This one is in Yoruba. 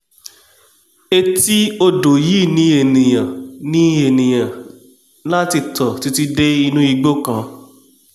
etí odò yìí ni enìà ni enìà ní láti tọ̀ títí dé inú igbó kan